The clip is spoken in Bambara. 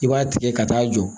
I b'a tigɛ ka taa jɔ